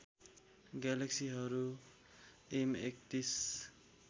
ग्यालेक्सीहरू M ३१